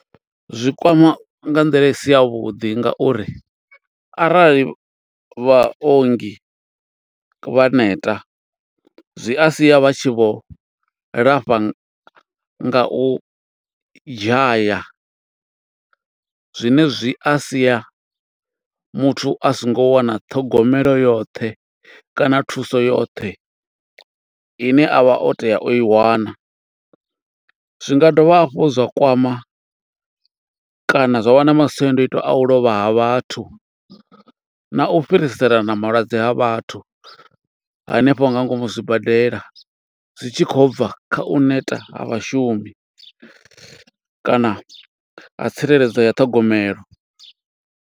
Zwi kwama nga nḓila i si ya vhuḓi, nga uri arali vhaongi vha neta, zwi a sia vha tshi vho lafha nga u dzhaya. Zwine zwi a sia muthu a songo wana ṱhogomelo yoṱhe, kana thuso yoṱhe ine a vha o tea o i wana. Zwi nga dovha hafhu zwa kwama kana zwa vha na masiandoitwa a u lovha ha vhathu, na u fhiriselana malwadze ha vhathu, hanefho nga ngomu zwibadela. Zwi tshi khou bva kha u neta ha vhashumi, kana ha tsireledzo ya ṱhogomelo.